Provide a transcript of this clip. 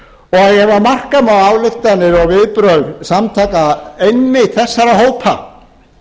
ef marka má ályktanir og viðbrögð einmitt þessara hópa